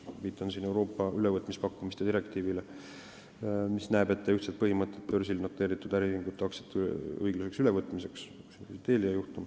Ma viitan siin Euroopa ülevõtmispakkumiste direktiivile, mis näeb ette ühtsed põhimõtted börsil noteeritud äriühingute aktsiate õiglaseks ülevõtmiseks .